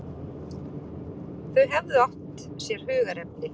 Þau hefðu átt sér hugðarefni.